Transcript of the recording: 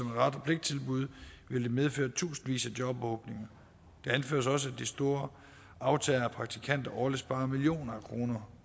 ret og pligt tilbud vil det medføre tusindvis af jobåbninger det anføres også at de store aftagere af praktikanter årligt sparer millioner af kroner